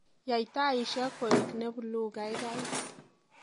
Yai taishek kue ne bluu kaikai